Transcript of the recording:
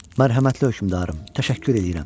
Mərhəmətli hökmüdarım, təşəkkür eləyirəm.